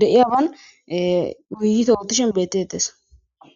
de'iyaban wiiyite oottishen bettettes.